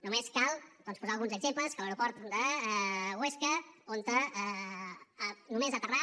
només cal doncs posar ne alguns exemples que a l’aeroport de huesca on només aterrar